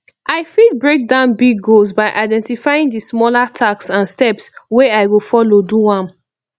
i fit break down big goals by identifying di smaller tasks and steps wey i go follow do am